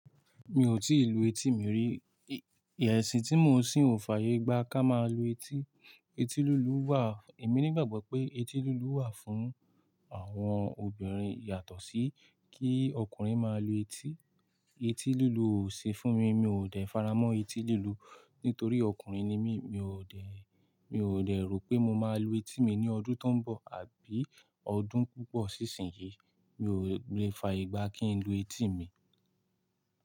Mi ò tíì lu etí mi rí. Ẹ̀sìn tí mo n sìń o fayé gba ká máa lu etí. Eti lùlù wà. Èmi ní ìgbàgbọ́ pé etí lùlù wà fún àwọn obìnrin yàtọ̀ sí kí ọkùnrin máa lu etí. Eti lùlù ò sí fún mi. Mi ò dẹ faramọ́ etí lùlù nítorí ọkùnrin ni mí. Mi ò dẹ̀, mi ò dẹ̀ rò pé mo máa lu etí mi ní ọdún tó ń bọ̀ àbí ọdún púpọ̀ sí ìsinyìí. Mi ò le fa igba kí n lu etí mi.